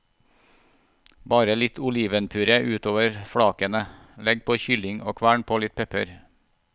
Bre litt olivenpuré utover flakene, legg på kylling og kvern på litt pepper.